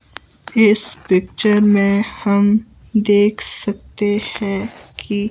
इस पिक्चर में हम देख सकते हैं कि--